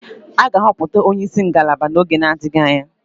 A ga-ahọpụta onye isi ngalaba n'oge na-adịghị anya